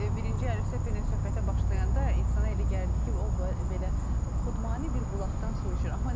Birinci Əlifşət bəylə söhbətə başlayanda insana elə gəlirdi ki, o belə xudmanı bir bulaqdan su içir.